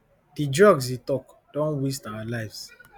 di drugs e tok don wast our lives